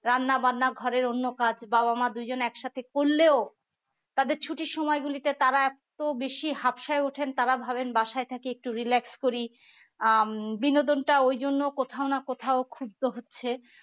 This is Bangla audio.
রান্নাবান্না ঘরে অন্য কাজ বাবা-মা দুজন একসাথে করলেও তাদের ছুটির সময় গুলিতে তারা তো বেশি হাফসায় উঠেন তারা ভাবেন বাসায় থেকে একটু relax করি আহ বিনোদন টা ওই জন্য কোথাও না কোথাও ক্ষুব্ধ হচ্ছে